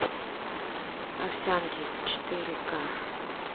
овсянки четыре ка